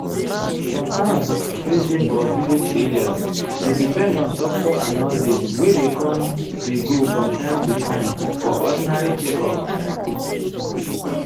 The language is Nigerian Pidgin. some towns wey dey for village area dey depend on doctor and nurse wey dey com dey go from time to time for ordinary checkup.